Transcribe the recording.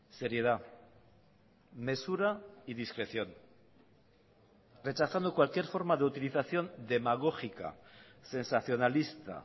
seriedad mesura y discreción rechazando cualquier forma de utilización demagógica sensacionalista